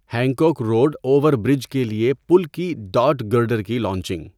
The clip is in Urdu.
ہینکوک روڈ اووَر برج کے لیے پل کی ڈاٹ گرڈر کی لانچنگ